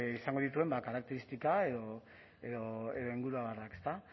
izango dituen karakteristika edo inguruabarrak ezta